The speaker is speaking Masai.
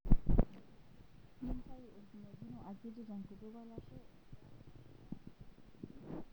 Nintayu orkimojino akiti tenkutuk olashe egira olashe aok kule.